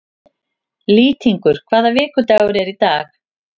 Lýtingur, hvaða vikudagur er í dag?